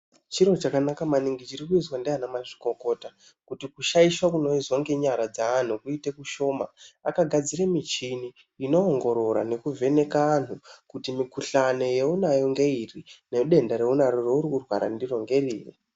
Chiro chakanaka maningi chirikuizwa ndiana mazvikokota kuti kushaisha kunoizwa ngenyara dzeanhu kuite kushoma, akagadzire michini inoongorora nekuvheneka anhu kuti mikhuhlani yeunayo ngeiri nedenda reunaro raurikurwara ndiro ngeriri.